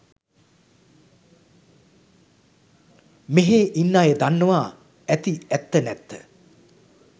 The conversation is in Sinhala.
මෙහේ ඉන්න අය දන්නවා ඇති ඇත්ත නැත්ත